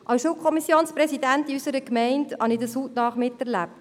Ich habe es als Schulkommissionspräsidentin unserer Gemeinde hautnah miterlebt.